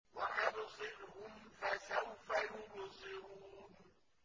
وَأَبْصِرْهُمْ فَسَوْفَ يُبْصِرُونَ